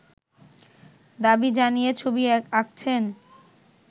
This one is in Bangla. দাবি জানিয়ে ছবি আঁকছেন